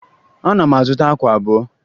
Ana m azụta akwa abụọ